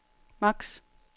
max